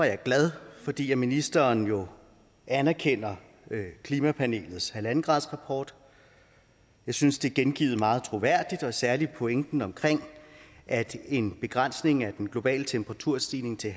jeg glad fordi ministeren jo anerkender klimapanelets en gradersrapport jeg synes det er gengivet meget troværdigt særlig pointen omkring at en begrænsning af den globale temperaturstigning til